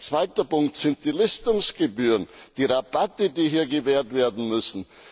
Ein zweiter Punkt sind die Listungsgebühren, die Rabatte, die hier gewährt werden müssen.